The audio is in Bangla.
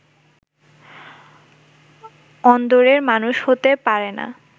অন্দরের মানুষ হতে পারে না